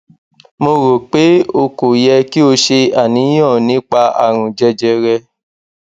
mo ro pe o kò yẹ ki o ṣe àníyàn nípa àrùn jẹjẹrẹ